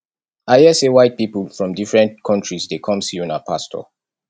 i hear say white people from different countries dey come see una pastor